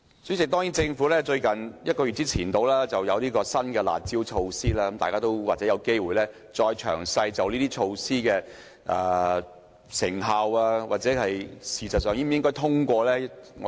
主席，政府在大約1個月前推出新的"辣招"，大家或有機會再詳細研究這些措施的成效，以及是否應該通過這些措施。